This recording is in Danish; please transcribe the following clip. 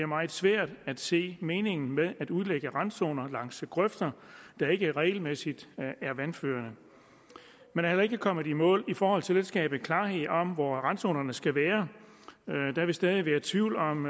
meget svært at se meningen med at udlægge randzoner langs grøfter der ikke regelmæssigt er vandførende man er heller ikke kommet i mål i forhold til at skabe klarhed om hvor randzonerne skal være der vil stadig være tvivl om